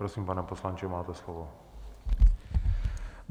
Prosím, pane poslanče, máte slovo.